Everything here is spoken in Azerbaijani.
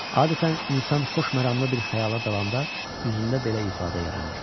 Adətən insan xoşməramlı bir xəyala dalanda üzündə belə ifadə yaranır.